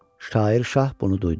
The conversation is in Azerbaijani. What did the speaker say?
Şair şah bunu duydu.